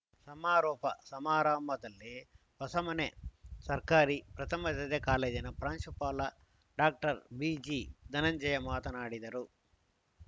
ಸಮಾರೋಪ ಸಮಾರಂಭದಲ್ಲಿ ಹೊಸಮನೆ ಸರ್ಕಾರಿ ಪ್ರಥಮ ದರ್ಜೆ ಕಾಲೇಜಿನ ಪ್ರಾಂಶುಪಾಲ ಡಾಕ್ಟರ್ ಬಿಜಿ ಧನಂಜಯ ಮಾತನಾಡಿದರು